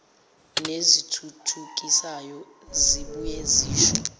nezithuthukisayo zibuye zisho